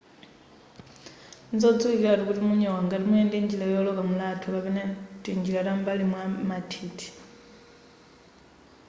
nzodziwikilatu kuti munyowa ngati muyenda njira yooloka mulatho kapena tinjira tam'mbali mwa mathithi